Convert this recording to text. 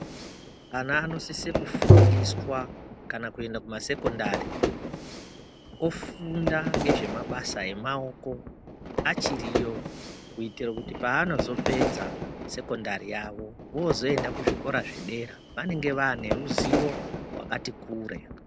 Ana anosise kufundiswa kana kuenda kumasekondari ofunda ngezve mabasa emaoko achiriyo kuitira kuti paanozopedza sekendari yavo vozoenda kuzvikora zvedera vanenge vaane ruzivo rwakatikure.